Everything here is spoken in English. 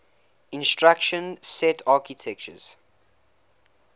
instruction set architectures